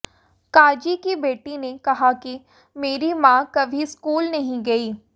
काजी की बेटी ने कहा कि मेरी मां कभी स्कूल नहीं गईं